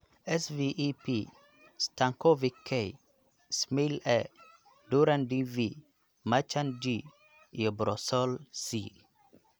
Sve P, Stankovic K, Smail A, Durand DV, Marchand G, iyo Broussolle C.